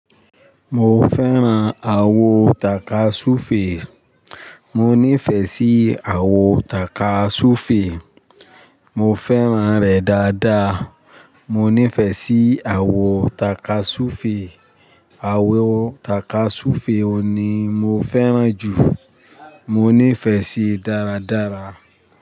Mo fẹ́ran àwo takasufe. Mo fẹ́ran àwo takasufe. Mo fẹ́ràn re daadaa. Mo nífẹ̀ẹ́ sí àwo takasufe. Àwo takasufe o ni mo fẹ́ran jù. Mo nífẹ̀ẹ́ síí dáradára.